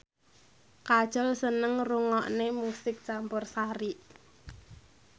Kajol seneng ngrungokne musik campursari